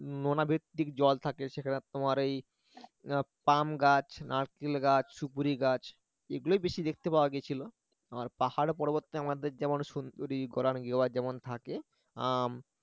জল থাকে সেখানে তোমার এই পাম গাছ নারকেল গাছ সুপুরি গাছ এগুলোই বেশি দেখতে পাওয়া গেছিল আর পাহাড় পর্বতে আমাদের যেমন সুন্দরী গরান গেওয়া যেমন থাকে আম